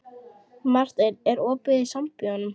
Marteinn, er opið í Sambíóunum?